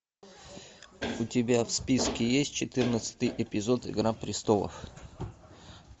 у тебя в списке есть четырнадцатый эпизод игра престолов